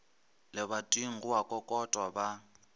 lebating go a kokotwa ba